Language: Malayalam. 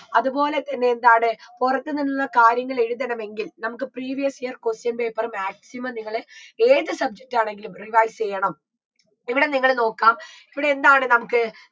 അത്പോലെ തന്നെ എന്താണ് പുറത്തു നിന്ന് കാര്യങ്ങൾ എഴുതണമെങ്കിൽ നമുക്ക് previous year question paper maximum നിങ്ങള് ഏത് subject ആണെങ്കിലും rewise യ്യണം ഇവിടെ നിങ്ങള് നോക്കാം ഇവിടെ എന്താണ് നമുക്ക്